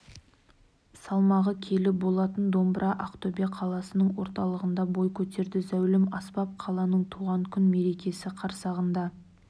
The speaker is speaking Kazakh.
салмағы келі болатын домбыра ақтөбе қаласының орталығында бой көтерді зәулім аспап қаланың туған күн мерекесі қарсағында